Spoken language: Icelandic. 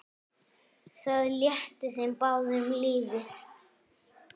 Það létti þeim báðum lífið.